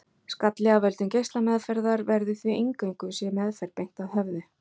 Skalli af völdum geislameðferðar verður því eingöngu sé meðferð beint að höfði.